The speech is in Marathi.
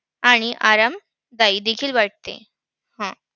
आणि आरामदायी देखील वाटते. हम्म